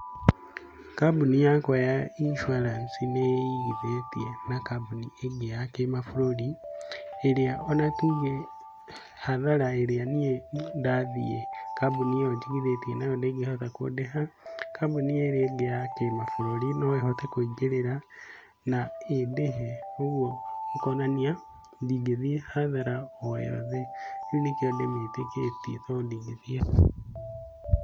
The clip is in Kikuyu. Kambuni yakwa ya insurance nĩ igithĩtie na kambuni ĩngĩ ya kĩmabũrũri. ĩrĩa ona tuge hathara ĩrĩa niĩ ndathiĩ kambuni ĩyo njigithĩtie nayo ndĩngĩhota kũndĩha. Kambuni ĩrĩa ĩngĩ ya kĩ mabũrũri no ĩhote kũingĩrĩra na ĩndĩhe. Ũguo ũkonania ndingĩthiĩ hathara oyothe, nĩ kio ndĩ mĩtikĩtie tondũ ndingĩ thiĩ hathara.